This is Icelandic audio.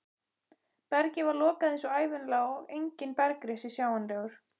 Bergið var lokað eins og ævinlega og enginn bergrisi sjáanlegur.